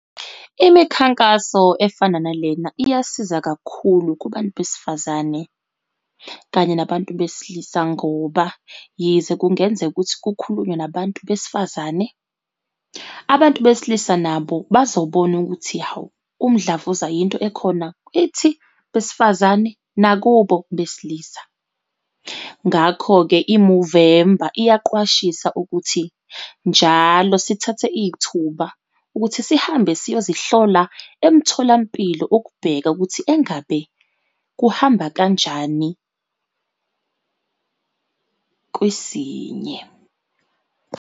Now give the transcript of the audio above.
Imikhankaso efana nalena, iyasiza kakhulu kubantu besifazane, kanye nabantu besilisa, ngoba yize kungenzeka ukuthi kukhulunywa nabantu besifazane, abantu besilisa nabo bazobona ukuthi, hawu, umdlavuza yinto ekhona kithi besifazane nakubo besilisa. Ngakho-ke i-Movember iyaqwashisa ukuthi njalo sithathe ithuba ukuthi sihambe siyazihlola emtholampilo ukubheka ukuthi engabe kuhamba kanjani, kwisinye.